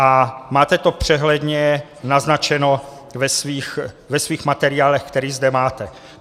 A máte to přehledně naznačeno ve svých materiálech, které zde máte.